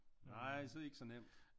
Nej så er det ik så nemt